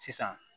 Sisan